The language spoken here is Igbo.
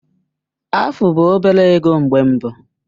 Afu bụ obere ego mgbe mbụ.